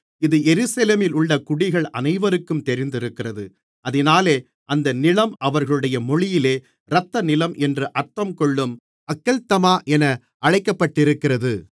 இது எருசலேமிலுள்ள குடிகள் அனைவருக்கும் தெரிந்திருக்கிறது அதினாலே அந்த நிலம் அவர்களுடைய மொழியிலே இரத்தநிலம் என்று அர்த்தங்கொள்ளும் அக்கெல்தமா என அழைக்கப்பட்டிருக்கிறது